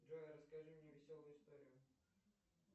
джой расскажи мне веселую историю